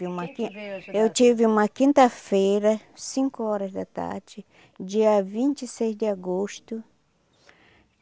Eu tive uma quinta-feira, cinco horas da tarde, dia vinte e seis de agosto.